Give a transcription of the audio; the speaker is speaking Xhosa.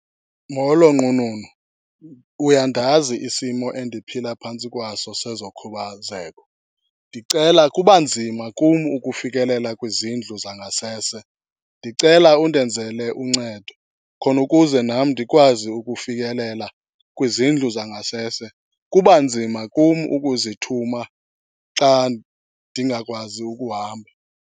Molo nqununu, uyandazi isimo endiphila phantsi kwaso sezokhubazeko. Ndicela, kuba nzima kum ukufikele kwizindlu zangasese, ndicela undenzele uncedo khona ukuze nam ndikwazi ukufikelela kwizindlu zangasese. Kuba nzima kum ukuzithuma xa ndingakwazi ukuhamba.